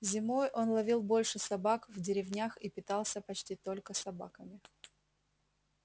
зимой он ловил больше собак в деревнях и питался почти только собаками